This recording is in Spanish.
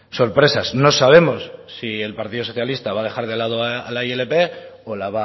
sorpresas no sabemos si el partido socialista va a dejar de lado la ilp o la